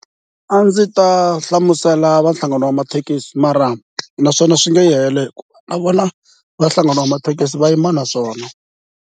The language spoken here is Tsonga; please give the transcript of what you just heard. A ndzi ta hlamusela va nhlangano wa mathekisi mara naswona swi nge yi helo hi ku na vona va nhlangana wa mathekisi va yima na swona.